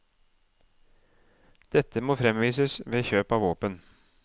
Dette må fremvises ved kjøp av våpen.